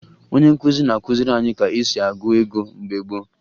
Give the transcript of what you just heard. Onye nkụzi na-akụziri anyị ka e si agụ ego mgbe gboo